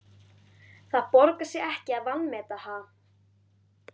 Það borgar sig ekki að vanmeta, ha?